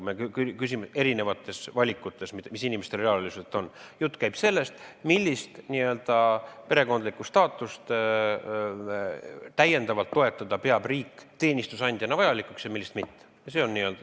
Me räägime erinevatest valikutest, mis inimestel reaalelus on, jutt käib sellest, millise n-ö perekondliku staatuse täiendavat toetamist peab riik teenistusandjana vajalikuks ja millise toetamist mitte.